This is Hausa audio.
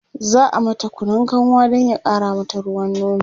za'a mata Kunun kanwa Dan ya ƙara mata ruwan nono